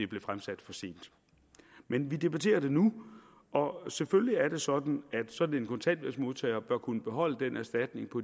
blev fremsat for sent men vi debatterer det nu og selvfølgelig er det sådan at sådan en kontanthjælpsmodtager bør kunne beholde den erstatning på